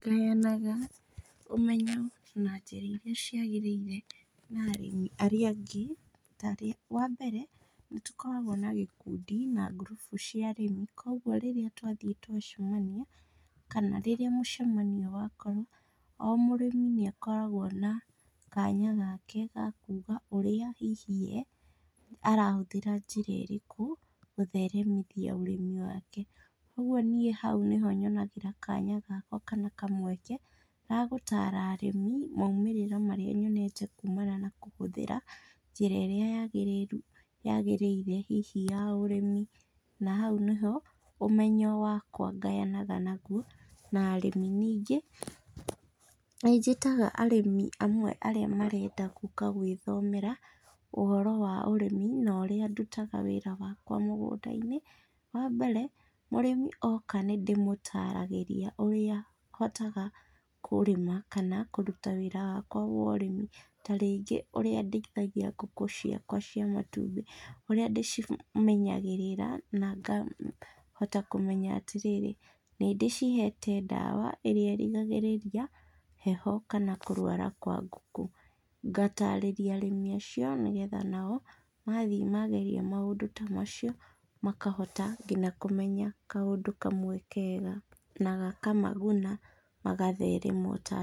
Ngayanaga ũmenyo na njĩra iria ciagĩrĩire na arĩmi arĩa angĩ ta rĩ, wa mbere, nĩ tũkoragwo na gĩkundi na ngurubu cia arĩmi. Kwoguo rĩrĩa twathiĩ twacemania, kana rĩrĩa mũcemanio wakorwo, o mũrĩmi nĩ akoragwo na kanya gake ga kuuga ũrĩa hihi, arahũthĩra njĩra ĩrĩkũ gũtheremithia ũrĩmi wake. Kwoguo niĩ hau nĩ ho nyonaga kanya gakwa kana kamweke ga gũtara arĩmi maũmĩrĩro marĩa nyonete kuumana na kũhũthĩra njĩra ĩrĩa yaagĩrĩire hihi ya ũrĩmi, na hau nĩ ho ũmenyo wakwa ngayanaga naguo na arĩmi. Ningĩ, nĩ njĩtaga arĩmi amwe arĩa marenda gũũka gwĩthomera ũhoro wa ũrĩmi na ũrĩa ndutaga wĩra wakwa mũgũnda-inĩ. Wa mbere, mũrĩmi oka nĩ ndĩmũtaragĩria ũrĩa hotaga kũrĩma kana kũruta wĩra wakwa wa ũrĩmi, ta rĩngĩ, ũrĩa ndĩithagia ngũkũ ciakwa cia matumbĩ, ũrĩa ndĩcimenyagĩrĩra na ngahota kũmenya atĩ rĩrĩ, nĩ ndĩcihete ndawa ĩrĩa ĩrigagĩrĩria heho kana kũrũara kwa ngũkũ. Ngataarĩria arĩmi acio nĩgetha nao mathi maageria maũndũ ta macio, makahota nginya kũmenya kaũndũ kamwe kega na gakamaguna magatherema o ta niĩ.